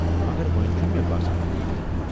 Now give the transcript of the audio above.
مگر وۄنہِ چھٗنہٕ مےٚ باسان بہٕ ہٮ۪کہٕ کٔرتھ۔